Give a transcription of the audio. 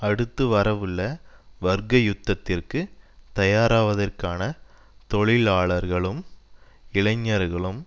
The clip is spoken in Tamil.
அடுத்து வரவுள்ள வர்க்க யுத்தத்திற்கு தயாராவதற்கான தொழிலாளர்களுக்கும் இளைஞர்களுக்கும்